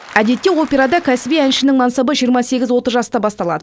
әдетте операда кәсіби әншінің мансабы жиырма сегіз отыз жаста басталады